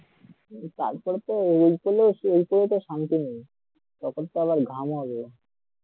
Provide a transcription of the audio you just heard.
সারা গা ঢাকা ঢুকিয়ে দিয়ে sunglass পড়ে বেরোতে হবে